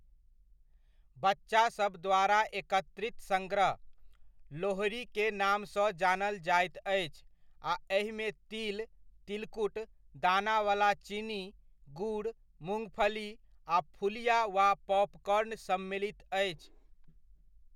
बच्चासब द्वारा एकत्रित संग्रह, लोहड़ी के नामसँ जानल जाइत अछि आ एहिमे तिल, तिलकुट, दानावला चीनी, गुड़, मुँगफली, आ फुलिया वा पॉपकॉर्न सम्मिलित अछि।